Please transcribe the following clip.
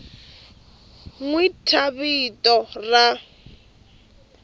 n wi thya vito ra